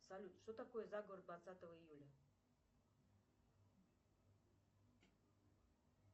салют что такое заговор двадцатого июля